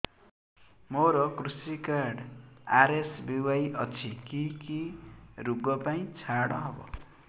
ମୋର କୃଷି card RSBY ଅଛି କି କି ଋଗ ପାଇଁ ଛାଡ଼ ହବ